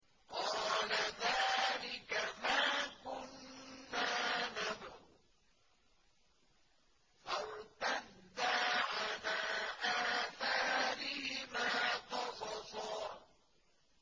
قَالَ ذَٰلِكَ مَا كُنَّا نَبْغِ ۚ فَارْتَدَّا عَلَىٰ آثَارِهِمَا قَصَصًا